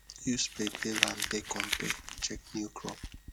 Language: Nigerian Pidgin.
use play play land take compare check new crop